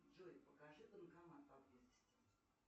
джой покажи банкомат поблизости